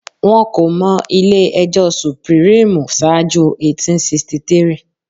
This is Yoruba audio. Wọn kò mọ ilé ẹjọ́ sùpírímù ṣáájú 1863